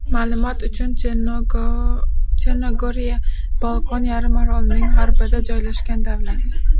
Ma’lumot uchun, Chernogoriya Bolqon yarim orolining g‘arbida joylashgan davlat.